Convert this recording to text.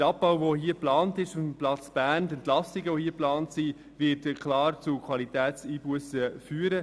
Der Abbau, die Entlassungen, die hier auf dem Platz Bern geplant sind, werden klar zu Qualitätseinbussen führen.